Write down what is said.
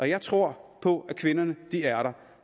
jeg tror på at kvinderne er der